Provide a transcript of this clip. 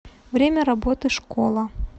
время работы школа